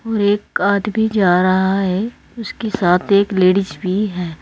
और एक आदमी जा रहा है उसके साथ एक लेडीज भी है।